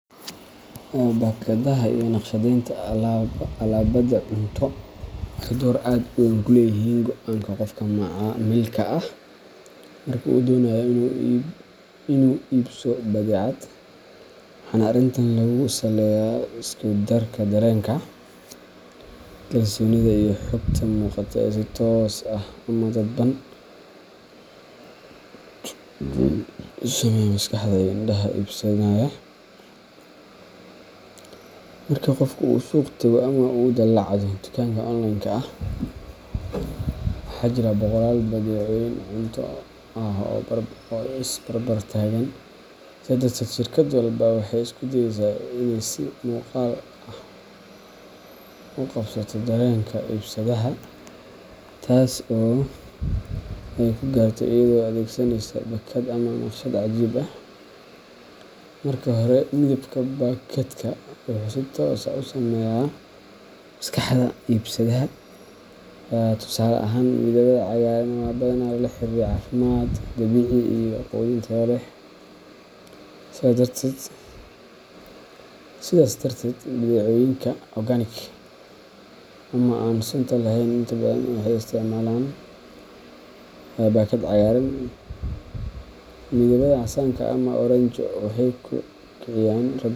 Baakadaha iyo nashqadeynta alaabada cunto waxay door aad u weyn ku leeyihiin go’aanka qofka macaamilka ah marka uu doonayo inuu iibso badeecad, waxaana arrintan lagu saleeyaa isku darka dareenka, kalsoonida, iyo xogta muuqata ee si toos ah ama dadban u saameeya maskaxda iyo indhaha iibsadaha. Marka qofku uu suuq tago ama uu daalacdo dukaanka online-ka ah, waxaa jira boqolaal badeecooyin cunto ah oo is barbar taagan, sidaa darteed shirkad walba waxay isku dayeysaa inay si muuqaal ah u qabsato dareenka iibsadaha, taas oo ay ku gaarto iyadoo adeegsanaysa baakad iyo nashqad cajiib ah. Marka hore, midabka baakadka wuxuu si toos ah u saameeyaa maskaxda iibsadaha. Tusaale ahaan, midabada cagaaran waxaa badanaa lala xiriiriyaa caafimaad, dabiici iyo quudin tayo leh, sidaas darteed badeecooyinka organic ama aan sunta lahayn inta badan waxay isticmaalaan baakad cagaaran. Midabada casaanka ama oranjo-ga waxay kiciyaan.